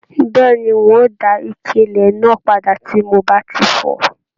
Bẹẹni, n o dá ike ilẹ náà padà tí mo bá tí fọ̀.